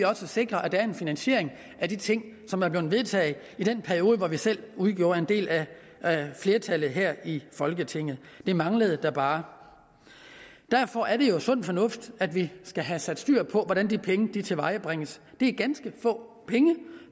sikre at der er en finansiering af de ting som er blevet vedtaget i den periode hvor vi selv udgjorde en del af flertallet her i folketinget det manglede da bare derfor er det jo sund fornuft at vi skal have styr på hvordan de penge tilvejebringes det er ganske få penge